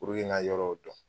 n ka yɔrɔw dɔn